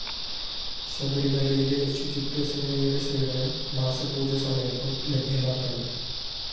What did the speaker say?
ശബരിമലയിലെ ശുചിത്വസേനയുടെ സേവനം മാസപൂജ സമയത്തും ലഭ്യമാക്കണം